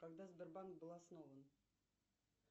когда сбербанк был основан